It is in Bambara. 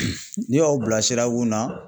N'i y'aw bila sira kun na